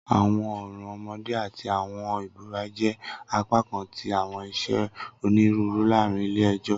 Awọn ọran ọmọde ati awọn ibura jẹ apakan ti awọn iṣe oniruuru laarin ile-ẹjọ.